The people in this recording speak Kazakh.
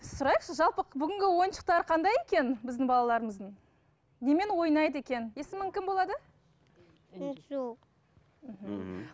сұрайықшы жалпы бүгінгі ойыншықтар қандай екен біздің балаларымыздың немен ойнайды екен есімің кім болады інжу мхм